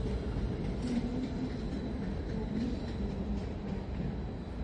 Kendo mwandu nyaka pogi e yo makare